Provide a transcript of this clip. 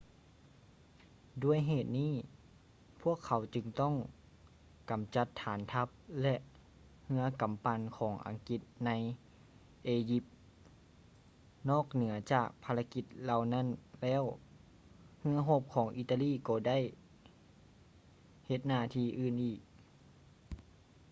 ດ້ວຍເຫດນີ້ ພວກເຂົາຈຶ່ງຕ້ອງກຳຈັດຖານທັບ ແລະ ເຮືອກຳປັ່ນຂອງອັງກິດໃນ ເອຢິບ ນອກເໜືອຈາກພາລະກິດເຫຼົ່ານັ້ນແລ້ວ ເຮືອຮົບຂອງອີຕາລີກໍບໍ່ໄດ້ເຮັດໜ້າທີ່ອື່ນອີກ